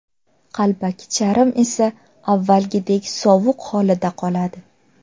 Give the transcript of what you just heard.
Qalbaki charm esa avvalgidek sovuq holida qoladi.